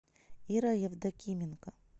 ира евдокименко